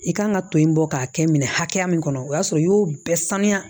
I kan ka to in bɔ k'a kɛ minɛ hakɛya min kɔnɔ o y'a sɔrɔ i y'o bɛɛ saniya